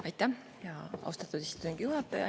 Aitäh, austatud istungi juhataja!